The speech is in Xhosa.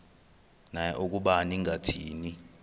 naye ukuba ningathini